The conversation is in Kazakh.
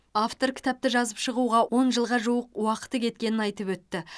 автор кітапты жазып шығуға он жылға жуық уақыты кеткенін айтып өтті